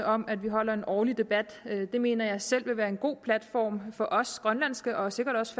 om at vi har en årlig debat det mener jeg selv vil være en god platform for os grønlandske og sikkert også